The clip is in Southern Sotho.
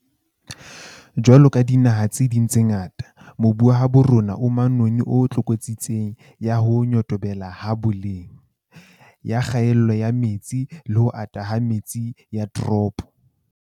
Jwaloka dinaha tse ding tse ngata, mobu wa habo rona o manoni o tlokotsing ya ho nyotobela ha boleng, ya kgaello ya metsi le ho ata ha metse ya ditoropo.